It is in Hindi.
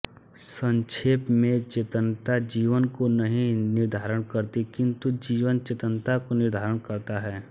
संक्षेप में चेतनता जीवन को नहीं निर्धारित करती किंतु जीवन चेतनता को निर्धारित करता है